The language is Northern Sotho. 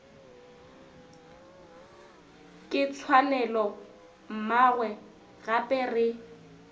ke tshwanelo mmawe gape re